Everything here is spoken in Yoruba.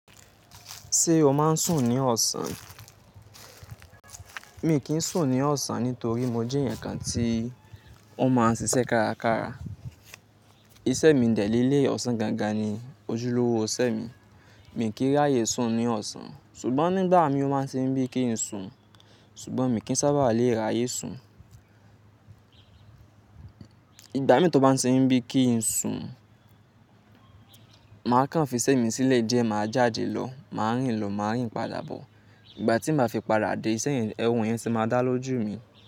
Ṣé o máa ń sùn ní ọ̀sán? Mi kì í sùn ní ọ̀sán nítorí mo jẹ́ ẹ̀yàn kan tí wọ́n máa ń ṣiṣẹ́ kárakára. Iṣẹ́ mi dẹ̀ lé leyi ọ̀sán gangan ni ojúlówó iṣẹ́ mi. Mi kì í ráyè sùn ní ọ̀sán ṣùgbọ́n nígbà mi ó máa ń ṣe mi bí kí n sùn ṣùgbọ́n mi kì í sábà lè ráyè sùn. Ìgbà mì tí ọ bá ń ṣe mi bí kí n sùn, màá kàn fi iṣẹ́ mi sílẹ̀ díẹ̀, màá jáde lọ, màá rìn lọ, màá rìn padà bọ̀. Ìgbà tí màá fi padà dé, iṣẹ́ yẹn, ehun yẹn sì máa dá lójú mi.